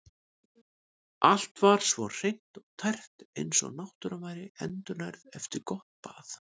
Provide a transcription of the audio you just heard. Allt var svo hreint og tært eins og náttúran væri endurnærð eftir gott bað.